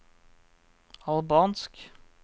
albansk